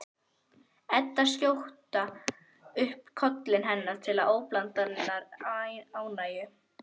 Eddu skjóta upp kollinum, henni til óblandinnar ánægju.